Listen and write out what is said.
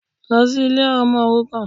Lọ sí Ilé àwọn ọmọ òrukàn